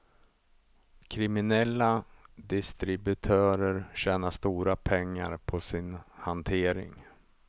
Kriminella distributörer tjänar stora pengar på sin hantering.